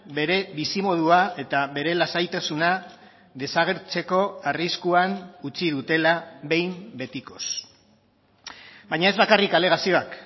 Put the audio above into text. bere bizimodua eta bere lasaitasuna desagertzeko arriskuan utzi dutela behin betikoz baina ez bakarrik alegazioak